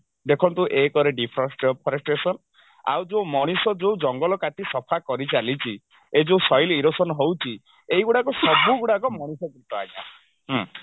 ଦେଖନ୍ତୁ ଏକରେ ଡିଫୋରେଶ deforestation ଆଉ ଯଉ ମଣିଷ ଯଉ ଜଙ୍ଗଲ କାଟି ସଫା କରିଚାଲିଛି ଏଇ ଯଉ soil erosion ହଉଛି ଏଇଗୁଡକୁ ସବୁଗୁଡାକ ମନୁଷ୍ୟକୃତ ଆଜ୍ଞା ହୁଁ